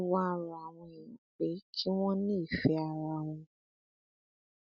ó wáá rọ àwọn èèyàn pé kí wọn ní ìfẹ ara wọn